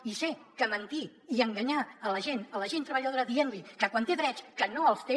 i sé que mentir i enganyar la gent la gent treballadora dient li que quan té drets no els té